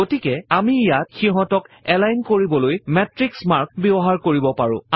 গতিকে আমি ইয়াত সিহঁতক এলাইন কৰিবলৈ মাতৃশ মাৰ্ক ব্যৱহাৰ কৰিব পাৰো